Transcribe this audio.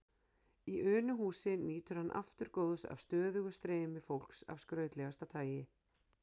Í Unuhúsi nýtur hann aftur góðs af stöðugu streymi fólks af skrautlegasta tagi.